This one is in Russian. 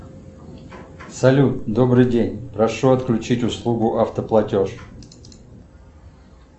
салют добрый день прошу отключить услугу автоплатеж